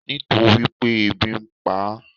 Nítorípé ebi npa á